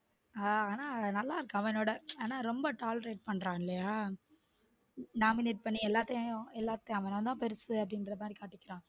ஹம் ஆனா நல்லா இருக்கு அவனோட ஆனா ரொம்ப tolerate பண்றான் இல்லைய nominate பண்ணி எல்லாத்தையும் அவன் தான் பெருசு அப்பிடிங்கிற மாறி காட்டுகிறான்.